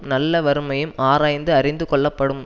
நல்ல வறுமையும் ஆராய்ந்து அறிந்து கொள்ளப்படும்